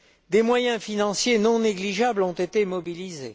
Des moyens financiers non négligeables ont été mobilisés.